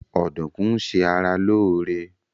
Ọdùkún ń ṣe ara lóóre